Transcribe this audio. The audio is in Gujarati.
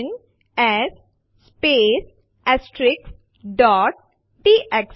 ફાઇલ1 અને ફાઇલ2 સરખાવવા માટે આપણે સીએમપી ફાઇલ1 ફાઇલ2 લખીશું